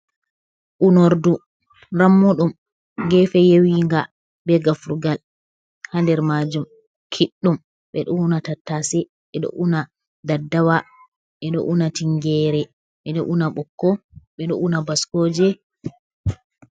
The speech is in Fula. Unordu rammuɗum gefe yewinga be gafrugal ha nder majum kiɗɗum, ɓeɗo una tattase, ɓeɗo una daddawa, ɓeɗo una tingere, beɗo una ɓokko, ɓeɗo una baskoje.